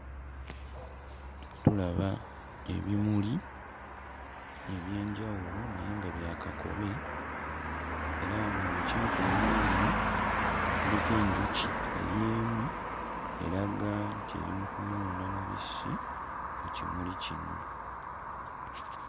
Tulaba ebimuli eby'enjawulo naye nga bya kakobe era nga mu kimu ku bimuli bino kuliko enjuki eri emu eraga nti eri mu kunuuna mubisi ku kimuli kino.